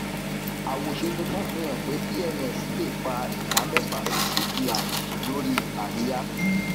àwòṣe tuntun fihan pé pms le fa ìdá mẹfà sí cpi lórí àríyá